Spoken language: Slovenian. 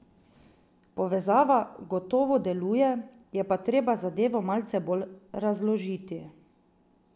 Povezava gotovo deluje, je pa treba zadevo malce bolj razložiti.